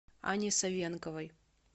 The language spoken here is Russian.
анне савенковой